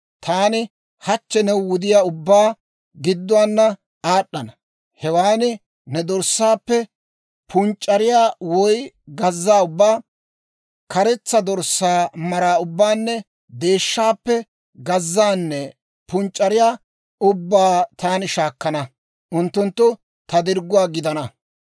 Taani hachche ne wudiyaa ubbaa gidduwaana aad'd'ana; hewaan ne dorssaappe punc'c'ariyaa woy gazzaa ubbaa, karetsa dorssaa mara ubbaanne deeshshaappe gazzaanne punc'c'ariyaa ubbaa taani shaakkana; unttunttu ta dirgguwaa gidana.